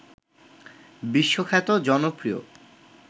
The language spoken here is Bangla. বিশ্বখ্যাত জনপ্রিয়